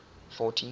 fourty